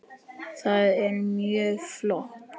Það er mjög flott.